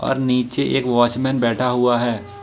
और नीचे एक वॉचमैन बैठा हुआ है।